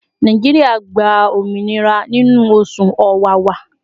Nàìjíríà gba òmìnira nínú oṣù Ọ̀wàwà